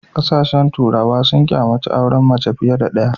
Kasashen turawa sun kyamaci auren mace fiye da ɗaya.